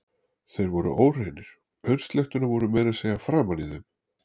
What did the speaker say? Þeir voru óhreinir, aursletturnar voru meira að segja framan í þeim.